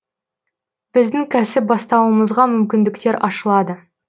біздің кәсіп бастауымызға мүмкіндіктер ашылады